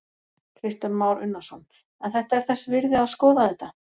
Kristján Már Unnarsson: En þetta er þess virði að skoða þetta?